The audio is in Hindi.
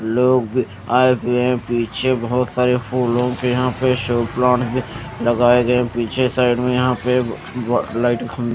लोग आए पिए पीछे बहुत सारे फूलो के यहाँ पे शो प्लांट भी लगाए गये हैं यहाँ पे पीछे साइड में यहाँ पे लाइट खं--